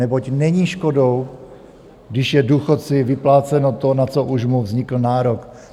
Neboť není škodou, když je důchodci vypláceno to, na co už mu vznikl nárok.